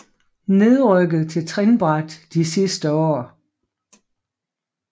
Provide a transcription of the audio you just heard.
Nedrykket til trinbræt de sidste år